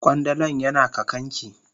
Kwandalan yana kakan ki.